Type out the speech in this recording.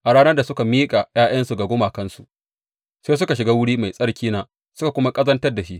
A ranar da suka miƙa ’ya’yansu ga gumakansu, sai suka shiga wuri mai tsarkina suka kuma ƙazantar da shi.